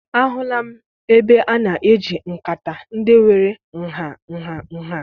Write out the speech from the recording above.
Ahụla m ebe a na-eji nkata ndị nwere nha nha nha.